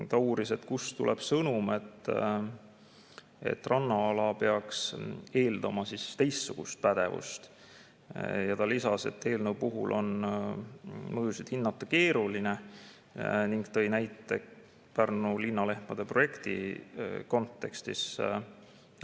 Ma uurisin, kust tuleb sõnum, et rannaala peaks eeldama teistsugust pädevust, ja lisasin, et eelnõu puhul on mõjusid hinnata keeruline, ning tõin näite Pärnu linnalehmade projekti kontekstis.